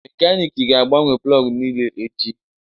Mekaniki ga-agbanwe plọg niile echi